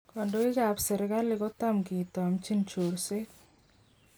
Kondoik kap sirkali kotam kitomchin chorset.